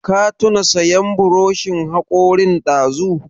Ka tuna sayan buroshin haƙorin dazu?